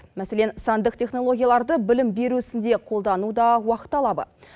мәселен сандық технологияларды білім беру ісінде қолдану да уақыт талабы